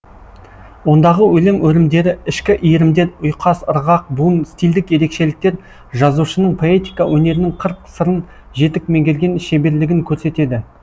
ондағы өлең өрімдері ішкі иірімдер ұйқас ырғақ буын стильдік ерекшеліктер жазушының поэтика өнерінің қыр сырын жетік меңгерген шеберлігін көрсетеді